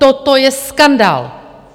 Toto je skandál!